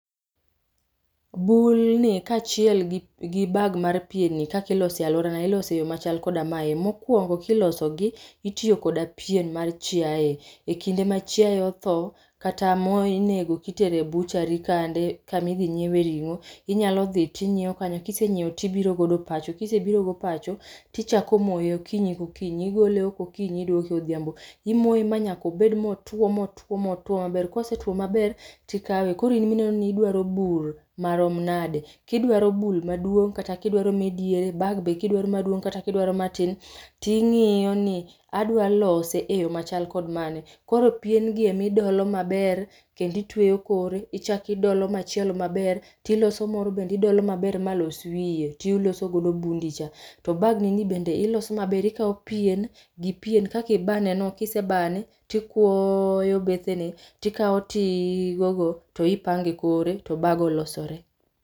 Bul ni kachiel gi ,gi bag[c] mar pien ni kakiloso e aluorana iloso e yo machal koda mae. Mokuongo kilosogi tityo kod pien mar chiaye, ekinde ma chiaye otho kata ma inego kitero e butchery kande kama idhi nyiewe ringo, inyalo dhi tinyiew kanyo kisenyiew tibiro godo pacho, kisebiro godo pacho tichako moye okinyi ka okinyi igole oko okinyi iduoke odhiambo, imoye manyaka obed motuo motuo motuo maber. Kosetuo maber tikawe koro in mineno ni idwaro bul marom nade, kidwaro bul maduong kata kidwaro mae diere ,bag be kidwaro maduong kata kidwaro matin tingiyo ni adwa lose e yoo machal kod mane. Koro pien gi ema idolo maber kendo itweyo kore, ichak idolo machielo maber, tiloso moro bende idolo maber malos wiye tiloso godo bundi cha. To bag ni ni bende iloso maber, ikao pien gi pien kaka ibane no, kisebane tikuoyo bethene tikao tigo go tipange kore to bag olosore